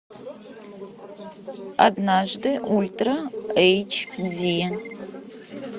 однажды ультра эйч ди